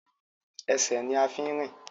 Ẹsẹ̀ ní a fi ń rìn.